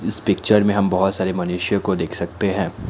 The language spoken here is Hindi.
इस पिक्चर में हम बहुत सारे मनुष्य को देख सकते हैं।